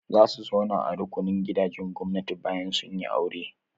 Za su zauna a rukunin gidajen gwamnati bayan sun yi aure.